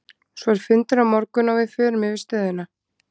Svo er fundur á morgun og við förum yfir stöðuna.